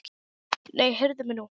Nei, heyrðu mig nú!